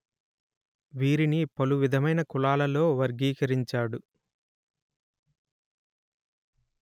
వీరిని పలు విధమైన కులాలలో వర్గీకరించాడు